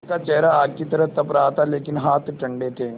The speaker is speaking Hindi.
उनका चेहरा आग की तरह तप रहा था लेकिन हाथ ठंडे थे